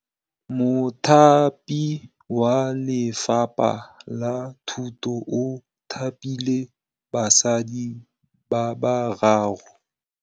Mothapi wa Lefapha la Thutô o thapile basadi ba ba raro.